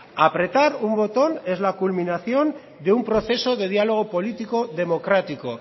apretar un botón en la culminación de un proceso de diálogo político democrático